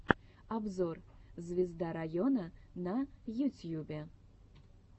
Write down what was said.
обзор звезда района на ютьюбе